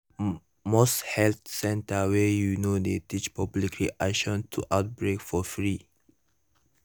most health center wey you know dey teach public reaction to outbreak for free